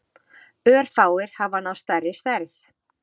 Örfáir hafa náð stærri stærð.